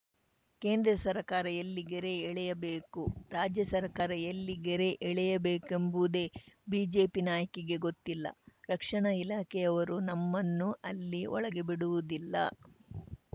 ಕೇಂದ್ರ ಸರ್ಕಾರ ಎಲ್ಲಿ ಗೆರೆ ಎಳೆಯಬೇಕು ರಾಜ್ಯ ಸರ್ಕಾರ ಎಲ್ಲಿ ಗೆರೆ ಎಳೆಯಬೇಕೆಂಬುದೇ ಬಿಜೆಪಿ ನಾಯಕಿಗೆ ಗೊತ್ತಿಲ್ಲ ರಕ್ಷಣಾ ಇಲಾಖೆಯವರು ನಮ್ಮನ್ನು ಅಲ್ಲಿ ಒಳಗೆ ಬಿಡುವುದಿಲ್ಲ